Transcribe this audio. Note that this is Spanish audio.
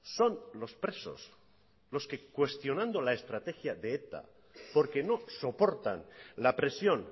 son los presos los que cuestionando la estrategia de eta porque no soportan la presión